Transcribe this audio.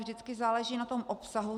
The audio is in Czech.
Vždycky záleží na tom obsahu.